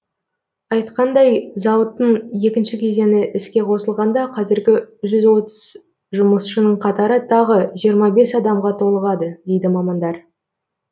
айтқандай зауыттың екінші кезеңі іске қосылғанда қазіргі жүз отыз жұмысшының қатары тағы жиырма бес адамға толығады дейді мамандар